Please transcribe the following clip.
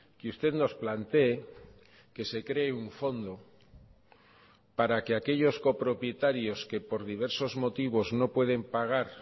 que usted nos planteé que se cree un fondo para que aquellos copropietarios que por diversos motivos no pueden pagar